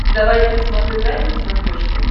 давай я посмотрю драйв на смотрешке